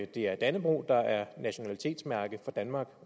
det er dannebrog der er nationalitetsmærke for danmark